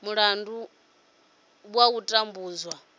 milandu ya u tambudzwa dzo